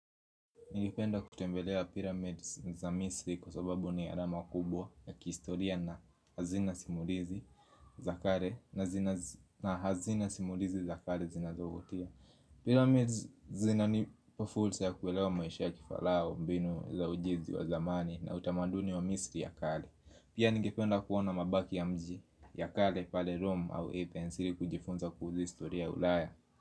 Nigipenda kutembelea pyramids za misri kwa sababu ni alama kubwa ya kihistoria na hazina simulizi za kale na hazina simulizi za kale zinazovutia Pyramids zinanipa fulsa ya kuelewa maisha ya kifarao, mbinu za ujizi wa zamani na utamaduni wa misri ya kale. Pia nigipenda kuona mabaki ya mji ya kale pale Rome au epensiri kujifunza kuhusu historia ya ulaya.